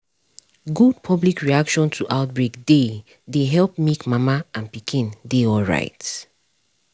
good public reaction to outbreak dey dey help make mama and pikin dey alright